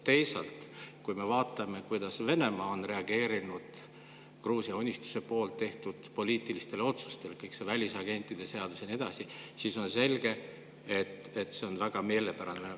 Teisalt, kui me vaatame, kuidas Venemaa on reageerinud Gruusia Unistuse tehtud poliitilistele otsustele – kõik see välisagentide seadus ja nii edasi –, siis on selge, et see on talle väga meelepärane.